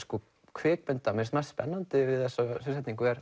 kvikmyndir mér fannst spennandi við þessa sviðsetningu er